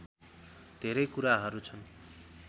धेरै कुराहरू छन्